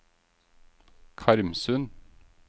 Karmsund